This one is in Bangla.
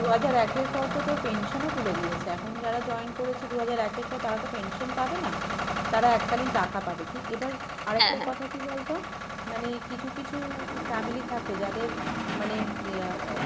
দু হাজার এক এর পর তো তোর pension ও তুলে দিয়েছে এখন যারা join করেছে দু হাজার এক এর পর তারা তো pension পাবে না, তারা এককালীন টাকা পাবে, কী এবার আরেকটা কথা কী বলতো মানে কিছু কিছু family থাকে যাদের মানে ইয়া আহ